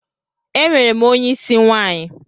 Enwerem onye isi nwanyi.